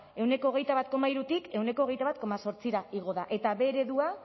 ehuneko hogeita bat koma hirutik ehuneko hogeita bat koma zortzira igo da eta b eredua